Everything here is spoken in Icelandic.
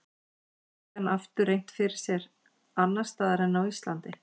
Gæti hann aftur reynt fyrir sér annars staðar en á Íslandi?